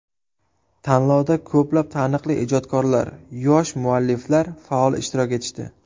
Tanlovda ko‘plab taniqli ijodkorlar, yosh mualliflar faol ishtirok etishdi.